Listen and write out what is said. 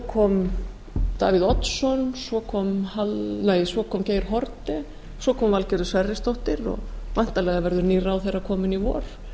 kom davíð oddsson svo kom geir haarde svo kom valgerður sverrisdóttir og væntanlega verður nýr ráðherra kominn í vor